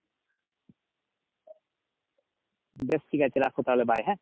বেশ ঠিক আছে রাখো তাহলে bye হ্যাঁ?